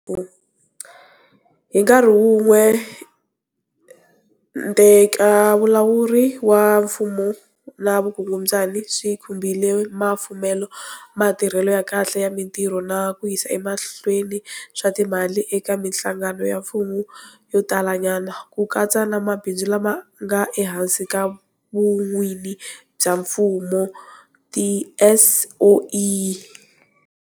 Hi nkarhi wun'we, ntekevulawuri wa mfumo na vukungundzwana swi khumbile mafumelo, matirhelo ya kahle ya mitirho na ku yisa emahlweni swa timali eka mihlangano ya mfumo yo tala nyana, ku katsa na mabindzu lama nga ehansi ka vun'wini bya mfumo, tiSOE.